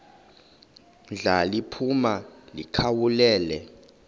ndla liphuma likhawulele